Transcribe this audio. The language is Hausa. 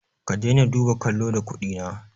Ka dai na duba kallo da kuɗi na